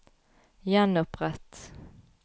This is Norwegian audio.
gjenopprett